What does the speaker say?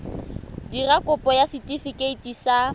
dira kopo ya setefikeiti sa